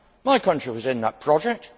My country was in that project